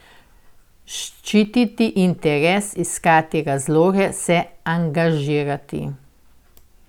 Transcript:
Ščititi interes, iskati razloge, se angažirati.